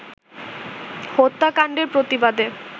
হত্যাকাণ্ডের প্রতিবাদে